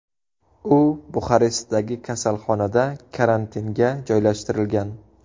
U Buxarestdagi kasalxonada karantinga joylashtirilgan.